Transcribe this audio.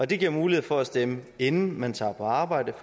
det giver mulighed for at stemme inden man tager på arbejde